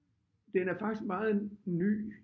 Den er faktisk meget ny